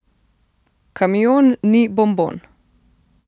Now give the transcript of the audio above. Kamion ni bonbon!